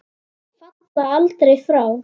Falla aldrei frá.